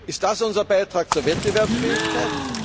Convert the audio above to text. Ist das unser Beitrag zur Wettbewerbsfähigkeit?